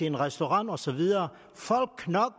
en restaurant og så videre